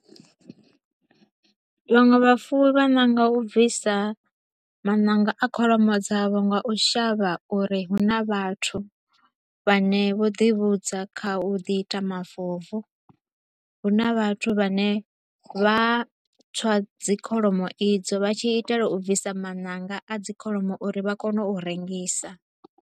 Vhaṅwe vha fuwi vha nanga u bvisa mananga a kholomo dzavho nga u shavha uri hu na vhathu vha ne vho ḓi vhudza kha u ḓi ita mafobvu. Hu na vhathu vha ne vha a tswa dzi kholomo idzo vha tshi itela u bvisa mananga a dzi kholomo uri vha kone u rengisa.